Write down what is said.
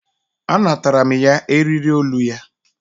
A natara mụ ya eriri olu ya.